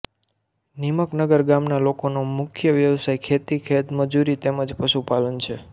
નીમકનગર ગામના લોકોનો મુખ્ય વ્યવસાય ખેતી ખેતમજૂરી તેમ જ પશુપાલન છે